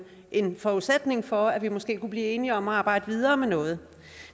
en forudsætning for at vi måske kunne blive enige om at arbejde videre med noget